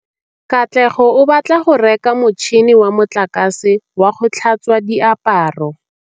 Katlego o batla go reka motšhine wa motlakase wa go tlhatswa diaparo.